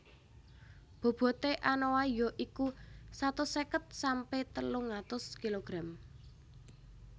Bobote anoa ya iku satus seket sampe telung atus kilogram